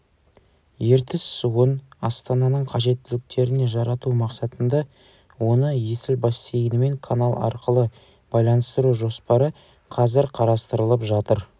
ертіс суын астананың қажеттіліктеріне жарату мақсатында оны есіл бассейнімен канал арқылы байланыстыру жоспары қазір қарастырылып жатыр